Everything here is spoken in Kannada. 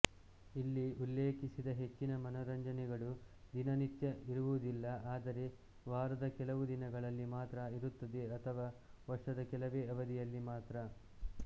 ಇಲ್ಲಿ ಉಲ್ಲೇಖಿಸಿದ ಹೆಚ್ಚಿನ ಮನೋರಂಜನೆಗಳು ದಿನನಿತ್ಯ ಇರುವುದಿಲ್ಲಆದರೆ ವಾರದ ಕೆಲವು ದಿನಗಳಲ್ಲಿ ಮಾತ್ರ ಇರುತ್ತದೆಅಥವಾ ವರ್ಷದ ಕೆಲವೇ ಅವಧಿಯಲ್ಲಿ ಮಾತ್ರ